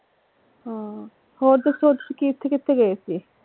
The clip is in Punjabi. ਹਮ ਹੋਰ ਦੱਸੋ ਕਿਥੇ ਕਿਥੇ ਗਏ ਸੀ?